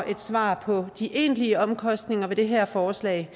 et svar på de egentlige omkostninger ved det her forslag